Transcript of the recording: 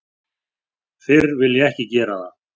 Fyrr vil ég ekki gera það.